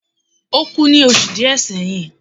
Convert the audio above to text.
o ku ni osu diẹ seyin